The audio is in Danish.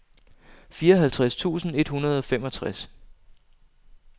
fireoghalvtreds tusind et hundrede og femogtres